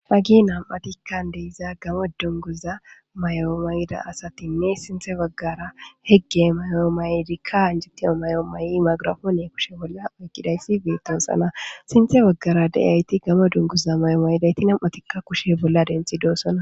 hagi nam'atikka de'iza gammo dunguza may'o mayida asatinne siinththe baggara higge mayo maydikka injitiiya may'o may'i magrafoone kushe bolla oyqidayssi beetossana siinththe baggara de'iyayti gammo dunguza may'o mayidayti nam'atikka kushe bolla denththidossona